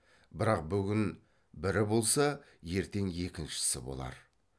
бірақ бүгін бірі болса ертең екіншісі болар